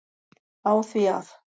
á því að